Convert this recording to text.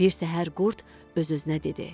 Bir səhər qurd öz-özünə dedi.